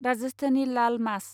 राजास्थानि लाल मास